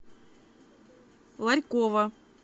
ларькова